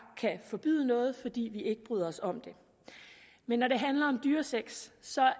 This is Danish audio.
kan forbyde noget fordi vi ikke bryder os om det men når det handler om dyresex